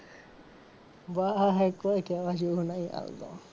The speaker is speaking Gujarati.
ભાઈ કોઈ કેવા જેવુ નહીં.